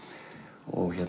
og